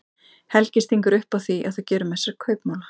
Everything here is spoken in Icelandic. Helgi stingur upp á því að þau geri með sér kaupmála.